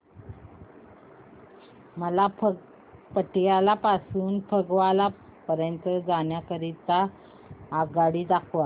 मला पटियाला पासून ते फगवारा पर्यंत जाण्या करीता आगगाड्या दाखवा